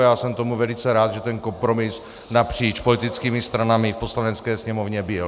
A já jsem tomu velice rád, že ten kompromis napříč politickými stranami v Poslanecké sněmovně byl.